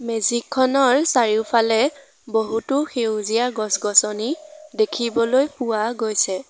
মেজিকখনৰ চাৰিওফালে বহুতো সেউজীয়া গছ-গছনি দেখিবলৈ পোৱা গৈছে।